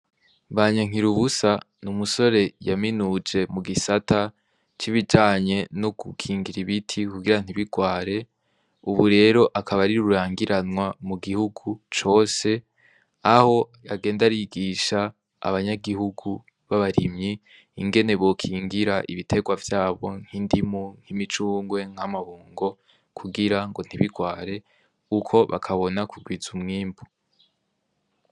Banyankirubusa n'umusore yaminuje mu gisata c'ibijanye no gukingira ibiti kugira ntibirware, ubu rero akaba ari rurangiranwa mu gihugu cose aho yagenda arigisha abanyagihugu b'abarimyi ingene bokingira ibiterwa vyabo nk'indimu nk'imicungwe nk'amabungo kugira ngo ntibirware uko bakabona kugwiza umwimbu.